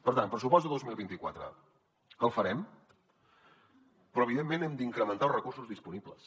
per tant pressupost de dos mil vint quatre el farem però evidentment hem d’incrementar els recursos disponibles